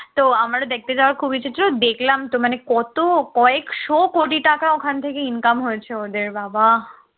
তো আমারও দেখতে যাওয়ার খুব ইচ্ছা ছিল দেখলাম তো মানে কত কয়েকশ কোটি টাকা ওখান থেকে income হয়েছে ওদের বাবা!